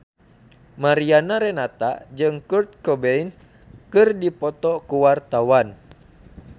Mariana Renata jeung Kurt Cobain keur dipoto ku wartawan